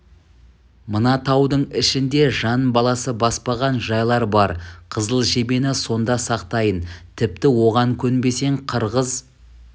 мына таудың ішінде жан баласы баспаған жайлар бар қызыл жебені сонда сақтайын тіпті оған көнбесең қырғыз